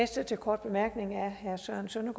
sådan